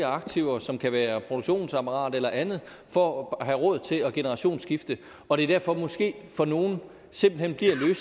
aktiver som kan være produktionsapparat eller andet for at have råd til at generationsskifte og det er derfor måske for nogle simpelt hen bliver